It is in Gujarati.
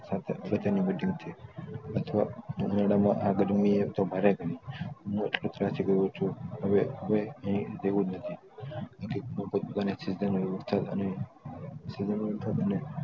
છે અથવા ઉનાળા માં આ ગરમી એ તો ભારે થાય હવે અહીં રહેવુંજ નથી